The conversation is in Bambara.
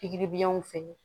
Pikiri biyɛnw fɛ